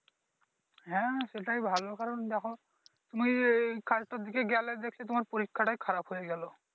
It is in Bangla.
হ্যাঁ সেটাই ভালো কারন দেখো তুমি এই কাজটার দিকে গেলে দেখছি তোমার পরীক্ষাটাই খারাপ হয়ে গেলো।